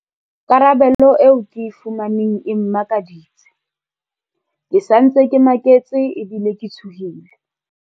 Karabelo eo ke e fumaneng e mmakaditse. Ke sa ntse ke maketse ebile ke tshohile.